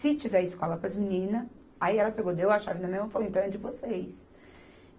Se tiver escola para as meninas, aí ela pegou, deu a chave na minha mão e falou, então é de vocês.